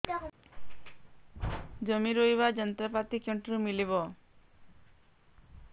ଜମି ରୋଇବା ଯନ୍ତ୍ରପାତି କେଉଁଠାରୁ ମିଳିବ